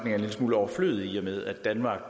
er en lille smule overflødigt i og med at danmark og